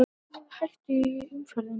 Gusugangur hættulegur í umferðinni